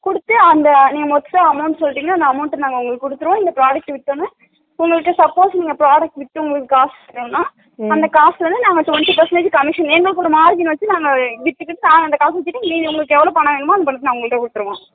குடுத்து அந்த extra amount சொல்லிடிங்கன அந்த amount ட நாங்க குடுத்துடுவோ அந்த product வித்ததுமே உங்களுக்கு suppose நீங்க product வித்ததும் காசு வேணும்னா அந்த காசுல இருந்து நாங்க twenty percentage commission எங்களுக்கு ஒரு margin வெச்சிட்டு நாங்க வித்துட்டு நீங்க உங்களுக்கு எவ்ளோ பணம் வேணுமோ அத உங்களுக்கு கொடுத்துடுவோ